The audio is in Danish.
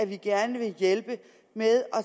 vi gerne vil hjælpe med at